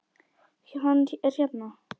Hann er hérna.